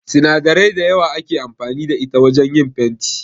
Sinadarai da yawa ake amfani da ita wajan yin fenti